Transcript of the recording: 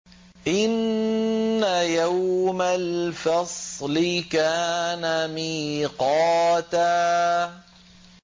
إِنَّ يَوْمَ الْفَصْلِ كَانَ مِيقَاتًا